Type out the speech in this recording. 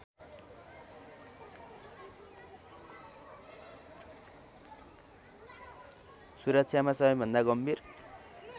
सुरक्षामा सबैभन्दा गम्भीर